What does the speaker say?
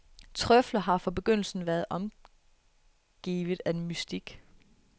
Trøfler har fra begyndelsen været omgivet af mystik.